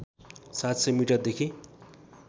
७०० मिटरदेखि